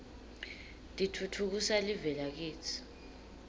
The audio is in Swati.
titfutfukisa live lakitsi